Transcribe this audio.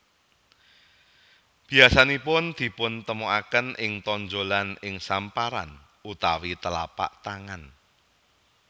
Biasanipun dipuntemuaken ing tonjolan ing samparan utawi telapak tangan